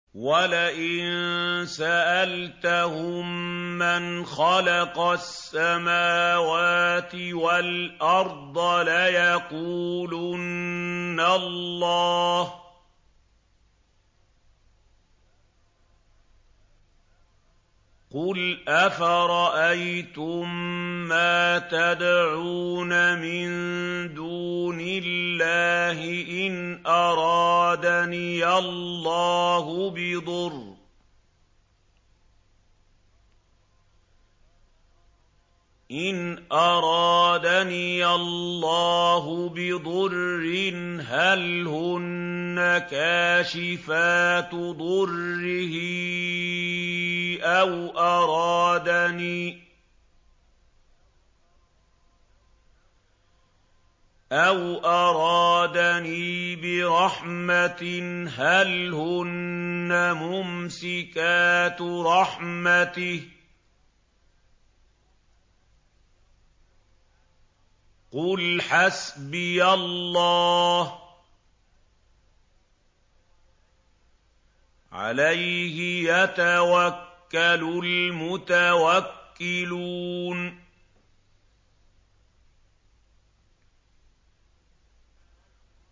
وَلَئِن سَأَلْتَهُم مَّنْ خَلَقَ السَّمَاوَاتِ وَالْأَرْضَ لَيَقُولُنَّ اللَّهُ ۚ قُلْ أَفَرَأَيْتُم مَّا تَدْعُونَ مِن دُونِ اللَّهِ إِنْ أَرَادَنِيَ اللَّهُ بِضُرٍّ هَلْ هُنَّ كَاشِفَاتُ ضُرِّهِ أَوْ أَرَادَنِي بِرَحْمَةٍ هَلْ هُنَّ مُمْسِكَاتُ رَحْمَتِهِ ۚ قُلْ حَسْبِيَ اللَّهُ ۖ عَلَيْهِ يَتَوَكَّلُ الْمُتَوَكِّلُونَ